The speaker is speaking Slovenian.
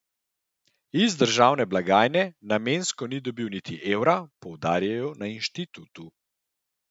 Iz državne blagajne namensko ni dobil niti evra, poudarjajo na inštitutu.